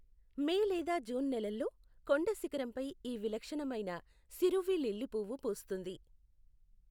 మే లేదా జూన్ నెలల్లో కొండ శిఖరంపై ఈ విలక్షణమైన శిరువి లిల్లీ పువ్వు పూస్తుంది.